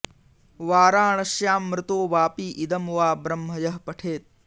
वाराणस्यां मृतो वापि इदं वा ब्रह्म यः पठेत्